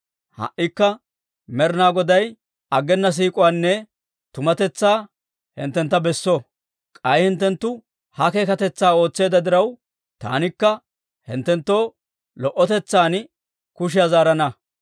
Ha"ikka Med'inaa Goday aggena siik'uwaanne tumatetsaa hinttentta besso; k'ay hinttenttu ha keekatetsaa ootseedda diraw, taanikka hinttenttoo lo"otetsan kushiyaa zaarana.